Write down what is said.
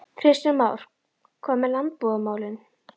Kristján Már: Hvað með landbúnaðarmálin?